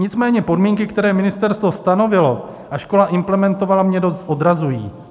Nicméně podmínky, které ministerstvo stanovilo a škola implementovala, mě dost odrazují.